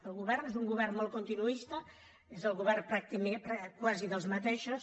el govern és un govern molt continuista és el govern quasi dels mateixos